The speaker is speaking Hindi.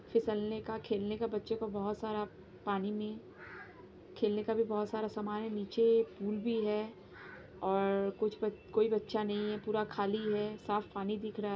फिसलने का खेलने का बच्चों का बहोत सारा पानी में खेलने का भी बहोत सारा सामान है नीचे पूल भी है और कुछ ब कोई बच्चा नहीं है पूरा खाली है साफ पानी दिख रहा --